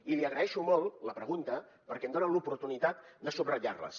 i li agraeixo molt la pregunta perquè em dona l’oportunitat de subratllar les